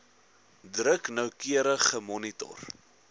druk noukeurig gemonitor